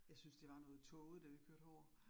jeg synes det var noget tåget, da vi kørte herover